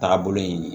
Taagabolo ye